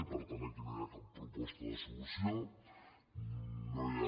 i per tant aquí no hi ha cap proposta de solució no hi ha